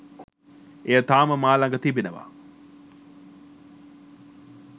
එය තාම මා ළඟ තිබෙනවා